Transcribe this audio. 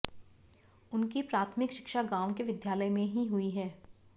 उनकी प्राथमिक शिक्षा गाँव के विद्यालय में ही हुई